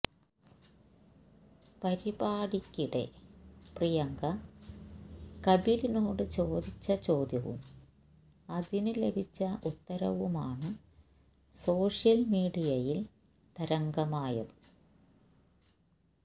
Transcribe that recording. പരിപാടിക്കിടെ പ്രിയങ്ക കപിലിനോട് ചോദിച്ച ചോദ്യവും അതിന് ലഭിച്ച ഉത്തരവുമാണ് സോഷ്യൽ മീഡിയയിൽ തരംഗമായത്